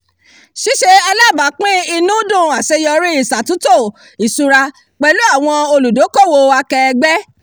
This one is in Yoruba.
ṣíṣe alábàápín inúdùn àseyọrí ìsàtúntò ìsúra pẹ̀lú àwọn olùdókòwò akẹẹgbẹ́